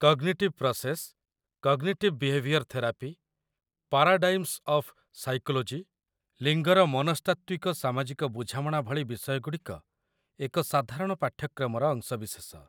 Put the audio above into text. cognitive process, cognitive behaviour therapy, paradigms of psychology, ଲିଙ୍ଗର ମନସ୍ତାତ୍ତ୍ୱିକ ସାମାଜିକ ବୁଝାମଣା ଭଳି ବିଷୟଗୁଡ଼ିକ ଏକ ସାଧାରଣ ପାଠ୍ୟକ୍ରମର ଅଂଶବିଶେଷ